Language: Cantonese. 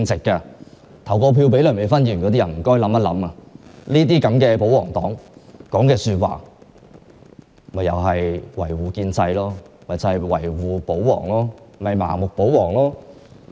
曾投票給梁美芬議員的選民應明白，她這種保皇黨議員所說的話同樣只為維護建制和盲目保皇。